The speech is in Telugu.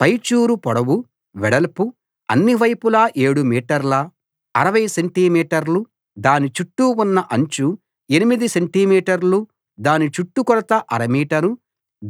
పై చూరు పొడవు వెడల్పు అన్ని వైపులా ఏడు మీటర్ల 60 సెంటి మీటర్లు దాని చుట్టూ ఉన్న అంచు ఎనిమిది సెంటిమీటర్లు దాని చుట్టూ కొలత అర మీటరు